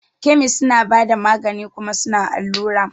Kemis suna bada magani kuma suna allura.